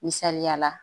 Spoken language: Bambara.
Misaliya la